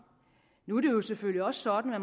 nu er det selvfølgelig også sådan at